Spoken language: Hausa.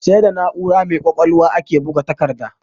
Sai da na'ura mai ƙwaƙwalwa ake buga takarda.